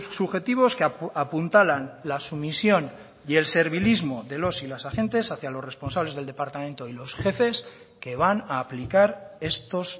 subjetivos que apuntalan la sumisión y el servilismo de los y las agentes hacia los responsables del departamento y los jefes que van a aplicar estos